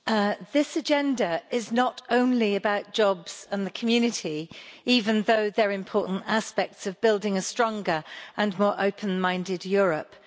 Madam President, this agenda is not only about jobs and the community, even though they're important aspects of building a stronger and more open-minded Europe.